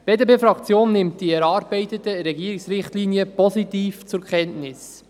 Die BDP-Fraktion nimmt die erarbeiteten Richtlinien des Regierungsrates positiv zur Kenntnis.